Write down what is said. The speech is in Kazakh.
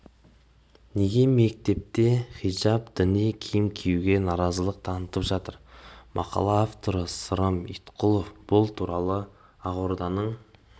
неге мектепте хижап діни киім киюге нарызылық танытып жатыр мақала авторы сырым иткулов бұл туралы ақорданың